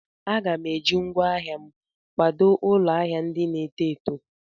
Aga m eji ngwaa ahịa m kwadò ụlọ ahịa ndị na-eto eto.